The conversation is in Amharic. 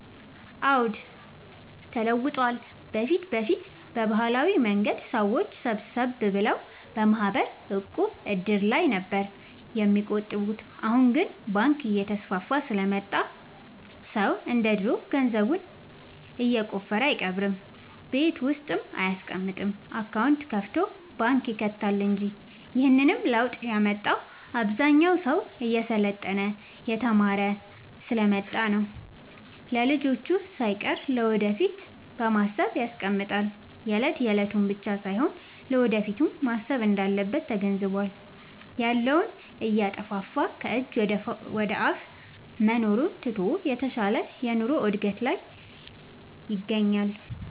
አዎድ ተለውጧል በፊት በፊት በባህላዊ መንገድ ሰዎች ሰብሰብ ብለው በማህበር፣ ዕቁብ፣ እድር ላይ ነበር የሚቆጥቡት አሁን ግን ባንክ እየተስፋፋ ስለመጣ ሰው እንደ ድሮ ገንዘቡን የቆፈረ አይቀብርም ቤት ውስጥ አይያስቀምጥም አካውንት ከፋቶ ባንክ ይከታል እንጂ ይህንንም ለውጥ ያመጣው አብዛኛው ሰው እየሰለጠነ የተማረ ስሐ ስለመጣ ነው። ለልጅቹ ሳይቀር ለወደፊት በማሰብ ያስቀምጣል የለት የለቱን ብቻ ሳይሆን ለወደፊቱም ማሰብ እንዳለበት ተገንዝቧል። ያለውን እያጠፋፋ ከጅ ወደአፋ መኖሩን ትቶ የተሻለ ኑሮ እድገት ይሻል።